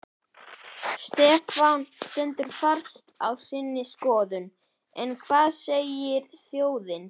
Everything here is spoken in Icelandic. Stefán stendur fast á sinni skoðun en hvað segir þjóðin?